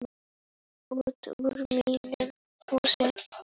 Út úr mínum húsum!